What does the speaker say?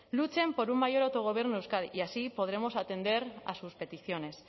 luchen por un mayor autogobierno de euskadi y así podremos atender a sus peticiones